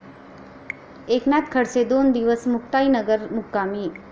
एकनाथ खडसे दोन दिवस मुक्ताईनगर मुक्कामी